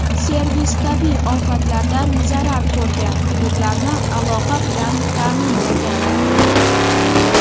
Servis tabiiy ofatlardan zarar ko‘rgan hududlarni aloqa bilan ta’minlagan.